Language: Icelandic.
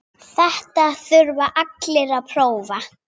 Þetta þurfa allir að prófa.